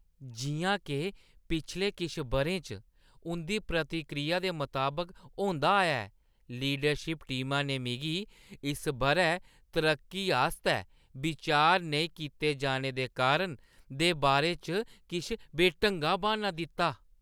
जिʼयां के पिछले किश बʼरें च उंʼदी प्रतिक्रिया दे मताबक होंदा आया ऐ, लीडरशिप टीमा ने मिगी इस बʼरै तरक्की आस्तै विचार नेईं कीते जाने दे कारण दे बारे च किश बेढंगा ब्हान्ना दित्ता।